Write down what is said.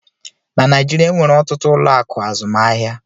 Na Naijiria, enwere ọtụtụ ụlọ akụ azụmaahịa